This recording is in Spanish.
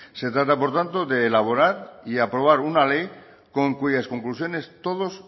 se trata por tanto de elaborar y aprobar una ley con cuyas conclusiones todos